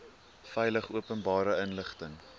veilig openbare inligting